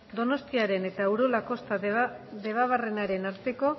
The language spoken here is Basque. donostiaren eta urola kosta debabarrenaren arteko